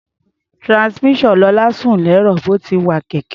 Transmission Lọlá sún lẹ́rọ̀ bí ó ti ń wa kẹ̀kẹ́.